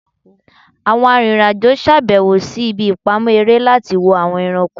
Awọn aririn ajo ṣabẹwo si ibi ipamọ ere lati wo awọn ẹranko